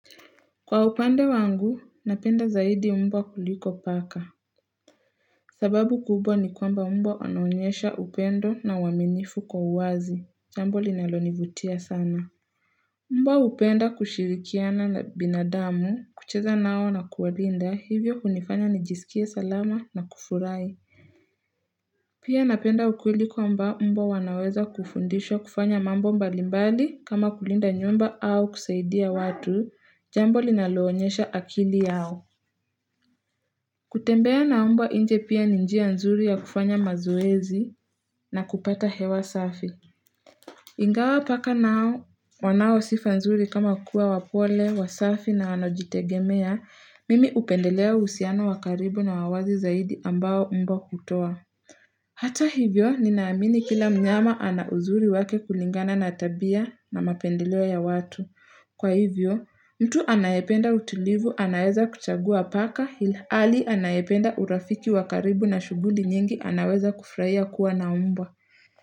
Kwa upande wangu napenda zaidi mbwa kuliko paka sababu kubwa ni kwamba mbwa wanaonyesha upendo na uwaminifu kwa uwazi jambo linalonivutia sana mbwa hupenda kushirikiana na binadamu kucheza nao na kuwalinda hivyo kunifanya nijisikie salama na kufurahi pia napenda ukweli kwamba mbwa wanaweza kufundishwa kufanya mambo mbali mbali kama kulinda nyumba au kusaidia watu jambo linaloonyesha akili yao kutembea na mbwa inje pia ni njia nzuri ya kufanya mazoezi na kupata hewa safi. Ingawa paka nao wanaosifa nzuri kama kuwa wapole, wasafi na wanojitegemea, mimi hupendelea husiano wakaribu na wawazi zaidi ambao mbwa hutoa. Hata hivyo, ninaamini kila mnyama ana uzuri wake kulingana na tabia na mapendeleo ya watu. Kwa hivyo, mtu anayependa utulivu anayeza kuchagua paka hili ali anayependa urafiki wakaribu na shuguli nyingi anaweza kufraia kuwa naumbwa.